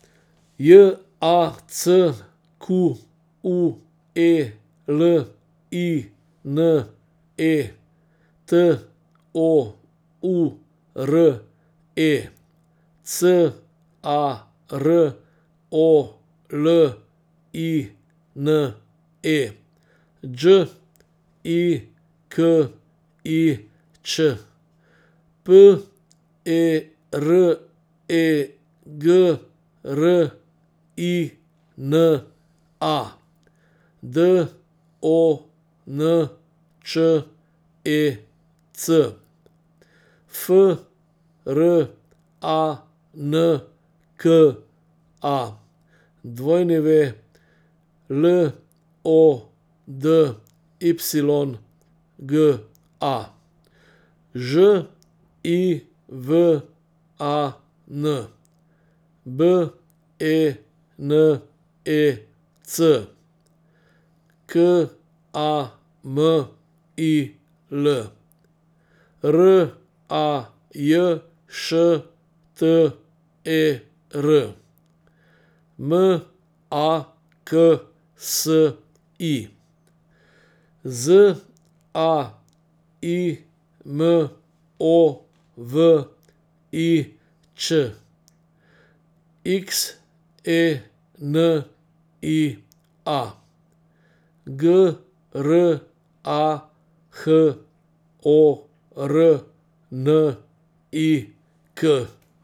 J A C Q U E L I N E, T O U R E; C A R O L I N E, Đ I K I Ć; P E R E G R I N A, D O N Č E C; F R A N K A, W L O D Y G A; Ž I V A N, B E N E C; K A M I L, R A J Š T E R; M A K S I, Z A I M O V I Ć; X E N I A, G R A H O R N I K.